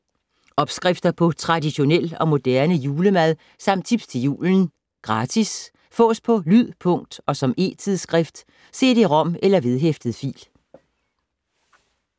Opskrifter på traditionel og moderne julemad samt tips til julen. Gratis. Fås på lyd, punkt og som e-tidsskrift: cd-rom eller vedhæftet fil